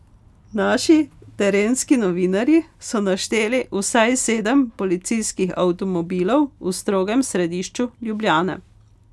Naši terenski novinarji so našteli vsaj sedem policijskih avtomobilov v strogem središču Ljubljane.